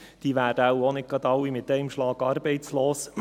Diese werden wohl kaum alle auf einen Schlag arbeitslos.